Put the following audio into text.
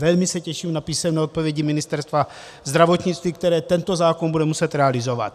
Velmi se těším na písemné odpovědi Ministerstva zdravotnictví, které tento zákon bude muset realizovat.